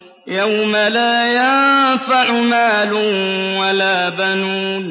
يَوْمَ لَا يَنفَعُ مَالٌ وَلَا بَنُونَ